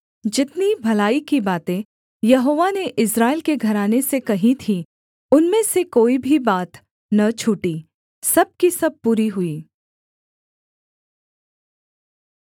जितनी भलाई की बातें यहोवा ने इस्राएल के घराने से कही थीं उनमें से कोई भी बात न छूटी सब की सब पूरी हुईं